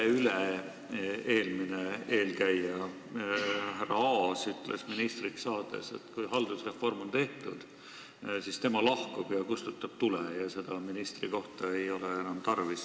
Teie üleüle-eelmine eelkäija härra Aas ütles ministriks saades, et kui haldusreform on tehtud, siis tema lahkub ja kustutab tule, seda ministrikohta ei ole enam tarvis.